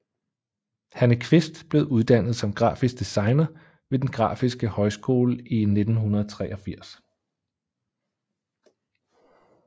Hanne Kvist blev uddannet som grafisk designer ved den Grafiske Højskole i 1983